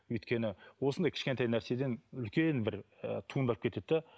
өйткені осындай кішкентай нәрседен үлкен бір ііі туындап кетеді де